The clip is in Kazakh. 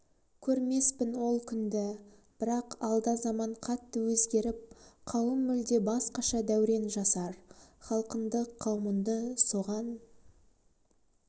көрмеспін ол күнді бірақ алда заман қатты өзгеріп қауым мүлде басқаша дәурен жасар халқынды қаумынды соған